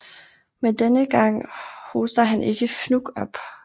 Men denne gang hoster han ikke fnug op